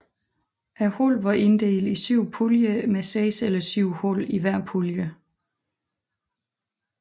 Holdene var inddelt i syv puljer med seks eller syv hold i hver pulje